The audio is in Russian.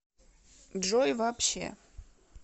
джой вообще